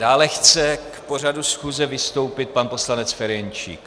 Dále chce k pořadu schůze vystoupit pan poslanec Ferjenčík.